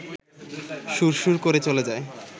সুরসুর করে চলে যায়